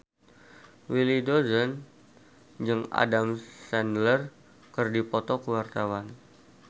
Willy Dozan jeung Adam Sandler keur dipoto ku wartawan